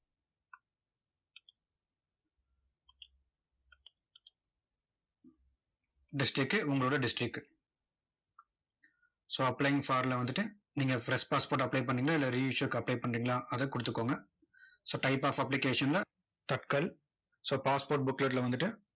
district உங்களோட district so applying for ல வந்துட்டு, நீங்க fresh passport apply பண்றீங்களோ, இல்ல re-issue க்கு apply பண்றீங்களா, அதை கொடுத்துக்கோங்க so type of application ல tatkal so passport booklet ல வந்துட்டு,